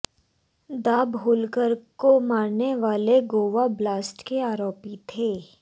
दाभोलकर को मारने वाले गोवा ब्लास्ट के आरोपी थे